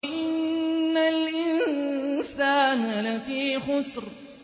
إِنَّ الْإِنسَانَ لَفِي خُسْرٍ